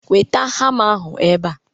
Weta hama ahụ ebe a!